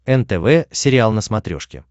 нтв сериал на смотрешке